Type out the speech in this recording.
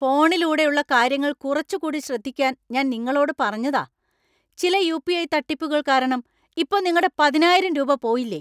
ഫോണിലൂടെ ഉള്ള കാര്യങ്ങൾ കുറച്ചുകൂടി ശ്രദ്ധിക്കാൻ ഞാൻ നിങ്ങളോട് പറഞ്ഞതാ .ചില യു. പി. ഐ. തട്ടിപ്പുകൾ കാരണം ഇപ്പോ നിങ്ങടെ പതിനായിരം രൂപ പോയില്ലേ.